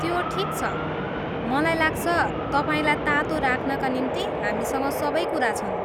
त्यो ठिक छ। मलाई लाग्छ, तपाईँलाई तातो राख्नका निम्ति हामीसँग सबै कुरा छन्।